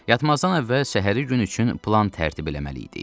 Yatmazdan əvvəl səhəri gün üçün plan tərtib eləməli idik.